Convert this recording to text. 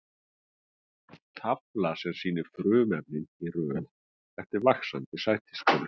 Tafla sem sýnir frumefnin í röð eftir vaxandi sætistölu.